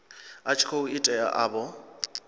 a tshi khou itela avho